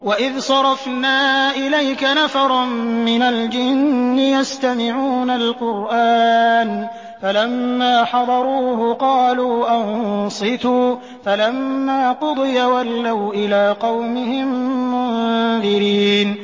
وَإِذْ صَرَفْنَا إِلَيْكَ نَفَرًا مِّنَ الْجِنِّ يَسْتَمِعُونَ الْقُرْآنَ فَلَمَّا حَضَرُوهُ قَالُوا أَنصِتُوا ۖ فَلَمَّا قُضِيَ وَلَّوْا إِلَىٰ قَوْمِهِم مُّنذِرِينَ